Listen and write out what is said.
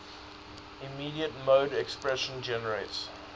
immediate mode expression generates